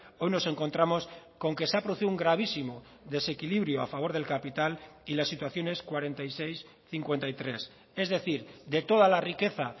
hoy nos encontramos con que se ha producido un gravísimo desequilibrio a favor del capital y la situación es cuarenta y seis cincuenta y tres es decir de toda la riqueza